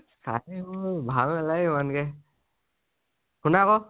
কাহিনী বোৰ ভাল নালাগে সিমানকে, শুনা আকৌ